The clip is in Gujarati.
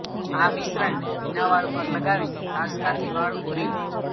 આ મિશ્રણને ભીના વાળ પર લગાવીને કાંસકાથી વાળ ઓરી લો